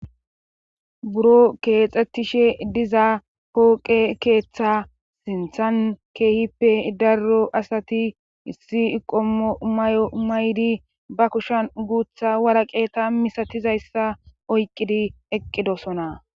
Buro keexxettishe diza pooqe keeththa sinthan keehippe darro asati issi iqoo may'o maydi ba kushan guutha waraqeta misatizayssa oyqidi eqqidosona.